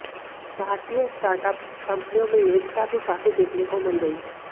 भारतीय स्टार्टअप कंपनियों में विविधता भी काफी देखने को मिल रही है